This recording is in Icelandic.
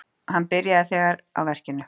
Hann byrjaði þegar á verkinu.